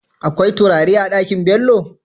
Akwai turare a Ɗakin Bello?